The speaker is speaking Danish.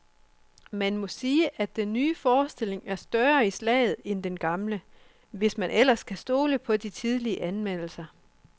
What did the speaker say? Man må sige, at den nye forestilling er større i slaget end den gamle, hvis man ellers kan stole på de tidlige anmeldelser.